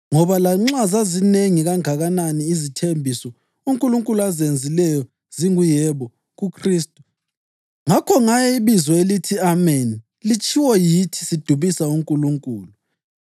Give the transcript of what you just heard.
Ngoba lanxa zizinengi kangakanani izithembiso uNkulunkulu azenzileyo zingu “Yebo” kuKhristu. Ngakho ngaye ibizo elithi “Ameni” litshiwo yithi sidumisa uNkulunkulu.